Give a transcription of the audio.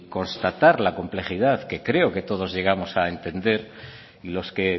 constatar la complejidad que creo que todos llegamos a entender y los que